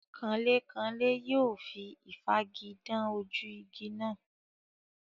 Kanlékanlé yóò fi ìfági dán ojú igi náà.